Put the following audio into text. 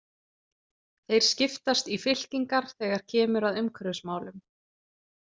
Þeir skiptast í fylkingar þegar kemur að umhverfismálum.